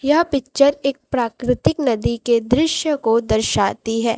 यह पिक्चर एक प्राकृतिक नदी के दृश्य को दर्शाती है।